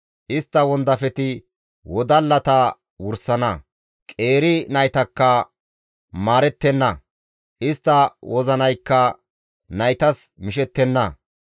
Istta wondafeti wodallata wursana; qeeri naytakka maarettenna; istta wozinaykka naytas mishettenna.